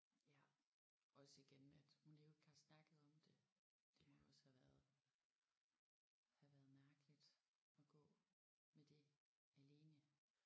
Ja også igen at hun jo ikke har snakket om det det må også have været have været mærkeligt at gå med det alene